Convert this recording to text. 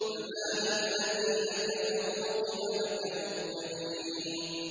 فَمَالِ الَّذِينَ كَفَرُوا قِبَلَكَ مُهْطِعِينَ